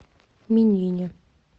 минине